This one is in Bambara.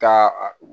Taa a